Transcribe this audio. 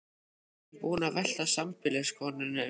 Næstum búinn að velta sambýliskonunni um koll.